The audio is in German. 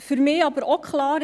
Für mich ist aber auch klar: